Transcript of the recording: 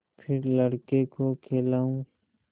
फिर लड़के को खेलाऊँ